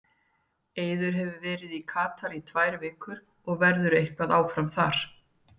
Eiður hefur verið í Katar í tvær vikur og verður eitthvað áfram þar.